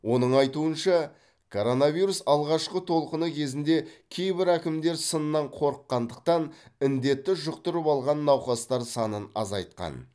оның айтуынша коронавирус алғашқы толқыны кезінде кейбір әкімдер сыннан қорыққандықтан індетті жұқтырып алған науқастар санын азайтқан